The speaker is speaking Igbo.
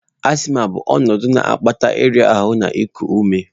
Asthma bụ ọnọdụ na-akpata ịra ahụ na iku ume.